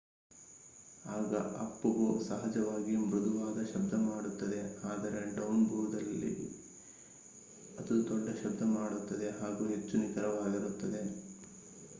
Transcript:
ಆಗ ಅಪ್-ಬೋ ಸಹಜವಾಗಿಯೇ ಮೃದುವಾದ ಶಬ್ದ ಮಾಡುತ್ತದೆ ಆದರೆ ಡೌನ್ ಬೋ ನಲ್ಲಿ ಅದು ದೊಡ್ಡ ಶಬ್ದ ಮಾಡುತ್ತದೆ ಹಾಗೂ ಹೆಚ್ಚು ನಿಖರವಾಗಿರುತ್ತದೆ